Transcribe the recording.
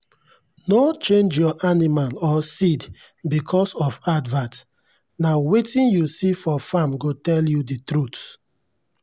no change your animal or seed because of advert—na wetin you see for farm go tell you the truth.